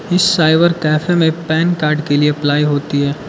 इस cyber cafe में PAN card के लिए अप्लाई होती है।